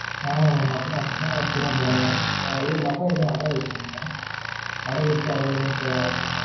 ஆமா mam அப்படி அப்படி தான் அப்படி தான் போட முடியும் mam எதும் நகை எதும் அடகு வச்சு இருக்கிங்களா? அடகு வச்சு அது எதும் amount டு